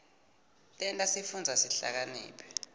tenta sifundze sihlakaniphe